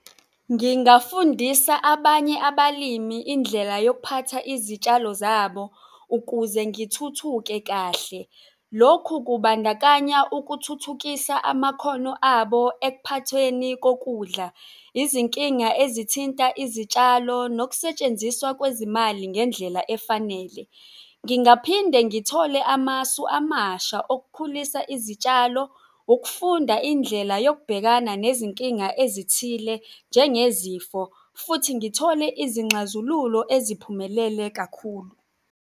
Ngingafundisa abanye abalimi indlela yokuphatha izitshalo zabo ukuze ngithuthuke kahle. Lokhu kubandakanya ukuthuthukisa amakhono abo ekuphathweni kokudla, izinkinga ezithinta izitshalo nokusetshenziswa kwezimali ngendlela efanele. Ngingaphinde ngithole amasu amasha okukhulisa izitshalo, ukufunda indlela yokubhekana nezinkinga ezithile njengezikho futhi ngithole izinxazululo eziphumelele kakhulu.